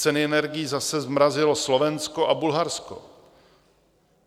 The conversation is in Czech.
Ceny energií zase zmrazilo Slovensko a Bulharsko.